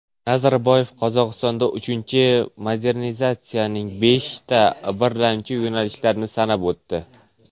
Nazarboyev Qozog‘iston uchinchi modernizatsiyasining beshta birlamchi yo‘nalishlarini sanab o‘tdi.